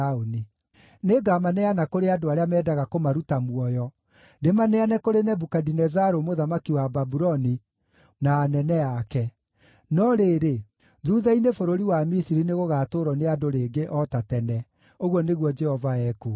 Nĩngamaneana kũrĩ andũ arĩa mendaga kũmaruta muoyo, ndĩmaneane kũrĩ Nebukadinezaru mũthamaki wa Babuloni na anene ake. No rĩrĩ, thuutha-inĩ bũrũri wa Misiri nĩgũgatũũrwo nĩ andũ rĩngĩ o ta tene,” ũguo nĩguo Jehova ekuuga.